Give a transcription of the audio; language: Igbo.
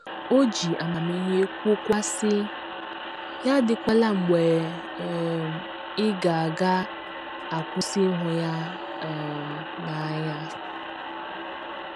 O ji amamihe kwuokwa, sị, “ Ya adịkwala mgbe um ị ga ga - akwụsị ịhụ ya um n’anya. ”